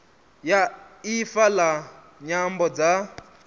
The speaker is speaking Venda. ya ifa la nyambo dza